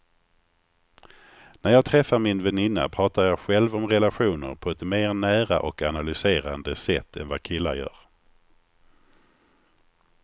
När jag träffar min väninna pratar jag själv om relationer på ett mer nära och analyserande sätt än vad killar gör.